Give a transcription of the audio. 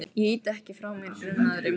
Ég ýti ekki frá mér grunaðri móður.